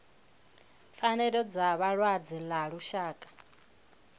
pfanelo dza vhalwadze ḽa lushaka